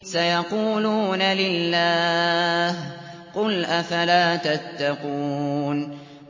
سَيَقُولُونَ لِلَّهِ ۚ قُلْ أَفَلَا تَتَّقُونَ